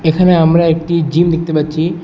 এখানে আমরা একটি জিম দেখতে পাচ্ছি।